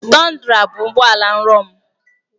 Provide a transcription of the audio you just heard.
Tundra bụ ụgbọ ala nrọ m.